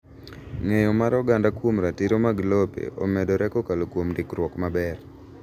Ng’eyo mar oganda kuom ratiro mag lope omedore kokalo kuom ndikruok maber.